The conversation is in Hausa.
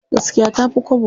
Gaskiya tafi kwabo.